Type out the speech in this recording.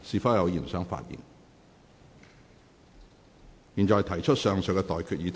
我現在向各位提出上述待決議題。